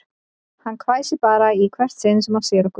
Hann hvæsir bara í hvert sinn sem hann sér okkur